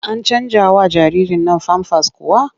An canjawa jaririrn nan famfas kuwa?